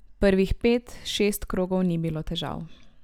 Prvih pet, šest krogov ni bilo težav.